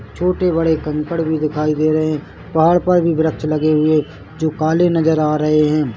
छोटे-बड़े कंकड़ भी दिखाई दे रहे है पहाड़ पर भी वृक्ष लगे हुए जो काले नजर आ रहे है।